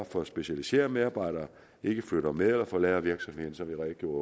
for at specialiserede medarbejdere ikke flytter med men forlader virksomheden som jeg redegjorde